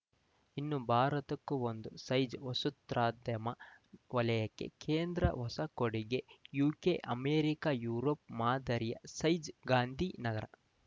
ಇನ್ನೂ ಭಾರತಕ್ಕೂ ಒಂದು ಸೈಜ್‌ ವಸೊತ್ರೕದ್ಯಮ ವಲಯಕ್ಕೆ ಕೇಂದ್ರ ಹೊಸ ಕೊಡುಗೆ ಯುಕೆ ಅಮೆರಿಕ ಯುರೋಪ್‌ ಮಾದರಿಯ ಸೈಜ್‌ ಗಾಂಧೀನಗರ